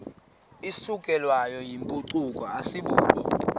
isukelwayo yimpucuko asibubo